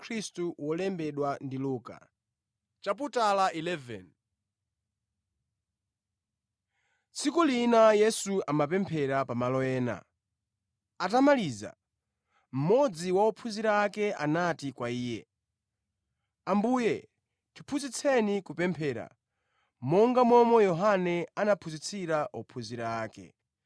Tsiku lina Yesu amapemphera pamalo ena. Atamaliza, mmodzi wa ophunzira ake anati kwa Iye, “Ambuye tiphunzitseni kupemphera, monga momwe Yohane anaphunzitsira ophunzira ake.”